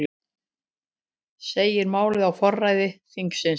Segir málið á forræði þingsins